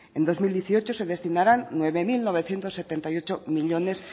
en dos mil dieciocho se destinarán nueve mil novecientos setenta y ocho millónes